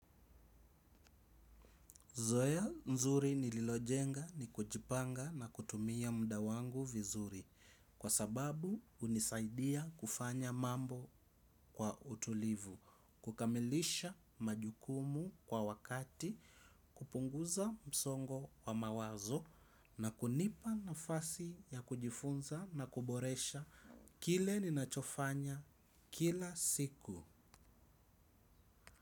Zoea nzuri nililojenga ni kujipanga na kutumia muda wangu vizuri kwa sababu unisaidia kufanya mambo kwa utulivu, kukamilisha majukumu kwa wakati, kupunguza msongo wa mawazo na kunipa nafasi ya kujifunza na kuboresha kile ninachofanya kila siku.